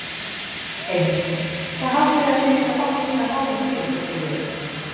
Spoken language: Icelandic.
Heimir: Hvað haldið þið að þið séuð að fá mikið af málum til ykkar, Sigríður?